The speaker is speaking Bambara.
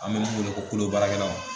An bɛ min wele kolobaarakɛlaw